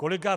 Kolega